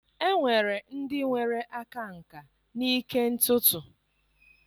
Enwere ndị nwere aka nkà n'ịke ntutu.